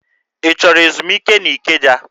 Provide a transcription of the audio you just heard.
Ị chọrọ ezumike n'Ikeja?